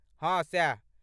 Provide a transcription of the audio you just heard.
हँ सैह।